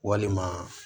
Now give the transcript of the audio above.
Walima